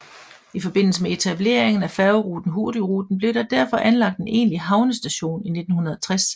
I forbindelse med etableringen af færgeruten Hurtigruten blev der derfor anlagt en egentlig havnestation i 1960